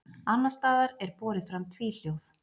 Annars staðar er borið fram tvíhljóð.